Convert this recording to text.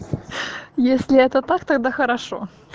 если это так тогда хорошо